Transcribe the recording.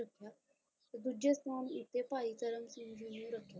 ਤੇ ਦੂਜੇ ਸਥਾਨ ਉੱਤੇ ਭਾਈ ਧਰਮ ਸਿੰਘ ਜੀ ਨੂੰ ਰੱਖਿਆ।